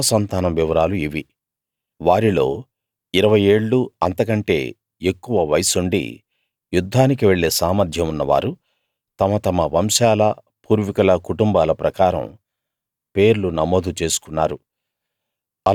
యూదా సంతానం వివరాలు ఇవి వారిలో ఇరవై ఏళ్ళూ అంతకంటే ఎక్కువ వయస్సుండి యుద్ధానికి వెళ్ళే సామర్థ్యం ఉన్నవారు తమ తమ వంశాల పూర్వీకుల కుటుంబాల ప్రకారం పేర్లు నమోదు చేసుకున్నారు